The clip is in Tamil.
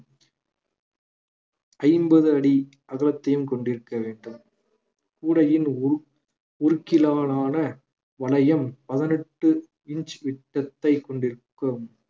ஐம்பது அடி அகலத்தையும் கொண்டிருக்க வேண்டும் கூடையின் உரு~ உருக்கிலாலான வளையம் வளையம் பதினெட்டு inch விட்டத்தை கொண்டிருக்கும்